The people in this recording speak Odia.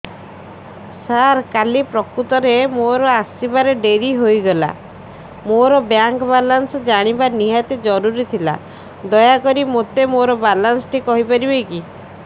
ସାର କାଲି ପ୍ରକୃତରେ ମୋର ଆସିବା ଡେରି ହେଇଗଲା ମୋର ବ୍ୟାଙ୍କ ବାଲାନ୍ସ ଜାଣିବା ନିହାତି ଜରୁରୀ ଥିଲା ଦୟାକରି ମୋତେ ମୋର ବାଲାନ୍ସ ଟି କହିପାରିବେକି